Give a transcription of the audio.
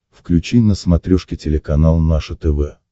включи на смотрешке телеканал наше тв